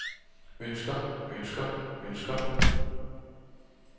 ønsker ønsker ønsker